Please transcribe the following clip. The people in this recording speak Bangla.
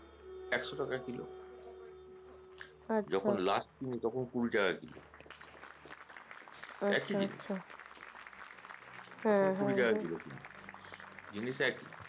এখশো টাকা কিলো যখন last নি তখন কুড়ি টাকা টাকা কিলো একি জিনিস কুড়ি টাকা কি জিনিস একি